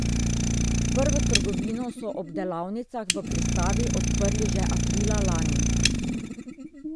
Prvo trgovino so ob delavnicah v Pristavi odprli že aprila lani.